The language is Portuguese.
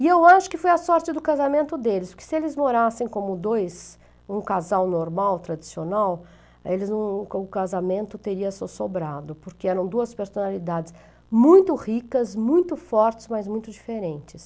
E eu acho que foi a sorte do casamento deles, porque se eles morassem como dois, um casal normal, tradicional, eles não não, o casamento teria só sobrado, porque eram duas personalidades muito ricas, muito fortes, mas muito diferentes.